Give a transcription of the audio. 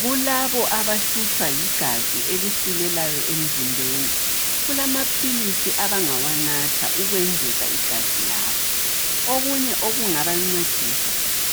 Kulabo abahlutshwa ligazi elisilelayo emzimbeni. Kulamaphilisi abangawanatha ukwengeza igazi labo, okunye okungabancedisa